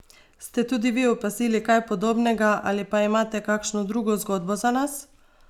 Ste tudi vi opazili kaj podobnega ali pa imate kakšno drugo zgodbo za nas?